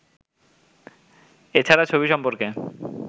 এ ছাড়া ছবি সম্পর্কে